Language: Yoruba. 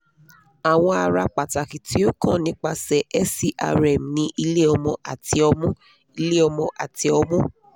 awọn ara pataki ti o kan nipasẹ serm ni ile-ọmọ ati ọmu ile-ọmọ ati ọmu